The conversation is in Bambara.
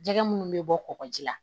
Jɛgɛ minnu bɛ bɔ kɔgɔji la